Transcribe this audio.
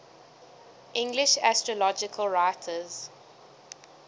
english astrological writers